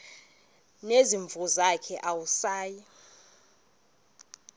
nezimvu zakhe awusayi